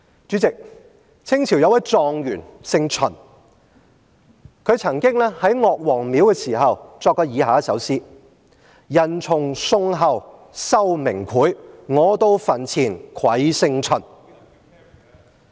主席，清朝有位狀元姓秦，他曾經在岳王廟作過以下一首詩："人從宋後羞名檜，我到墳前愧姓秦。